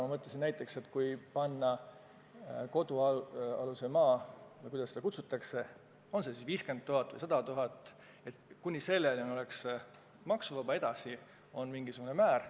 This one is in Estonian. Ma mõtlesin, et kui teha nii, et kodualune maa – või kuidas seda kutsutakse –, on seda siis 50 000 või 100 000 euro väärtuses, kuni selleni oleks maksuvaba, edasi on minigsugune maksumäär.